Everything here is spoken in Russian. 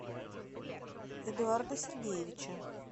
эдуарда сергеевича